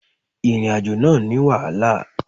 Ìrìnàjò náà ní wàhálà.